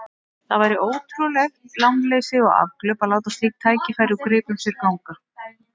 Það væri ótrúlegt lánleysi og afglöp að láta slík tækifæri úr greipum sér ganga.